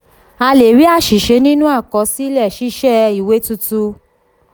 a lè rí àṣìṣe nínú àkọsílẹ ṣíṣe ìwé tuntun.